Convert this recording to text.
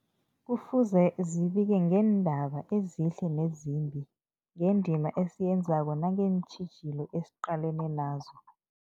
Kufuze zibike ngeendaba ezihle nezimbi, ngendima esiyenzako nangeentjhijilo esiqalene nazo.